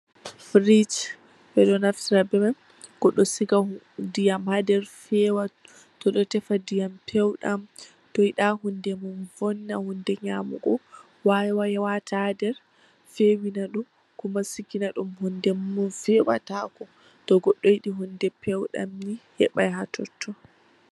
Firij bedo naftira be mai goddo siga diyam ha der fewa, Todo tefa dyam peudam, to yida hunde dum vonna hunde nyamugo, wata ha der fewina dum Kuma sigina dum hunde min, to goddo yidi hunde pewdam heban ha totyon.